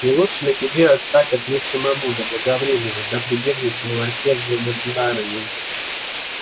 не лучше ли тебе отстать от них самому заблаговременно да прибегнуть к милосердию государыни